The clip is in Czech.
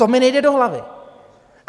To mi nejde do hlavy.